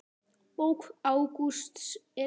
Bók Ágústs er afrek.